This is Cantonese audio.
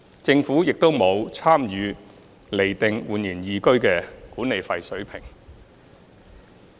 政府亦沒有參與釐定煥然懿居的管理費水平。